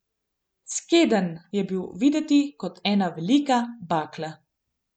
Skedenj je bil videti kot ena velika bakla.